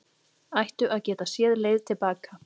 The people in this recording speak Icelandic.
Ættu að geta séð leið til baka